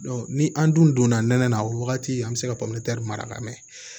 ni an dun donna nɛnɛ na o wagati an bɛ se ka pɔmɛri mara ka mɛɛn